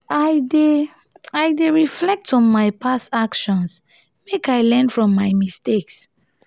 i dey i dey reflect on my past actions make i learn from my mistakes.